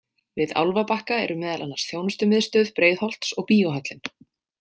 Við Álfabakka eru meðal annars þjónustumiðstöð Breiðholts og Bíóhöllin.